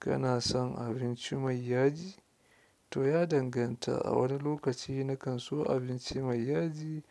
Kana son abinci mai yaji? To ya danganta. A wani lokaci nakan so abinci mai yaji,